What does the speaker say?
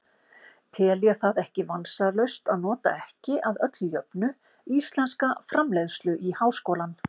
Tel ég það ekki vansalaust að nota ekki, að öðru jöfnu, íslenska framleiðslu í háskólann.